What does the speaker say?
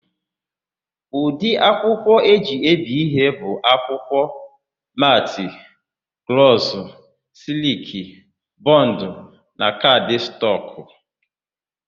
Ụdị akwụkwọ e ji ebi ihe bụ akwụkwọ: metị, glọsụ, sịlịkị, bọndụ na kaadịstọkụ.